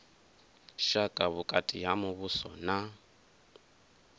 vhushaka vhukati ha muvhuso na